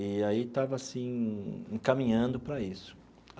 E aí estava, assim, encaminhando para isso.